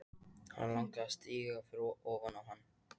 Hana langar að stíga ofan á hann.